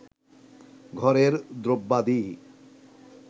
ঘরের দ্রব্যাদি